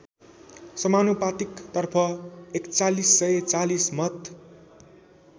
समानुपातिकतर्फ ४१४० मत